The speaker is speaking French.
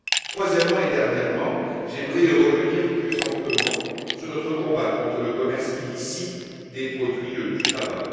Troisièmement et dernièrement, j'aimerais revenir plus amplement sur notre combat contre le commerce illicite des produits du tabac.